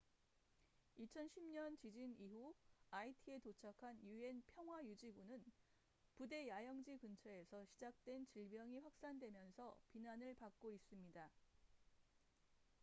2010년 지진 이후 아이티에 도착한 un 평화 유지군은 부대 야영지 근처에서 시작된 질병이 확산되면서 비난을 받고 있습니다